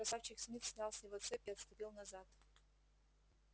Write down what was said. красавчик смит снял с него цепь и отступил назад